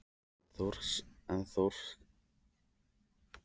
En er þorskstofninn sterkur að hans mati?